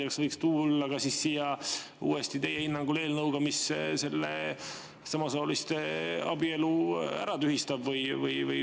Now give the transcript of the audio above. Ja kas võiks tulla siia uuesti, teie hinnangul, eelnõuga, mis selle samasooliste abielu ära tühistab?